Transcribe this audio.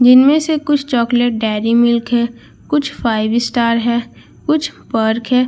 जिनमें से कुछ चॉकलेट डेयरी मिल्क है कुछ फाइव स्टार है कुछ पर्क है।